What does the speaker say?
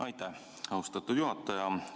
Aitäh, austatud juhataja!